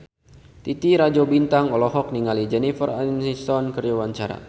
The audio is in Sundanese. Titi Rajo Bintang olohok ningali Jennifer Aniston keur diwawancara